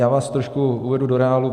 Já vás trošku uvedu do reálu.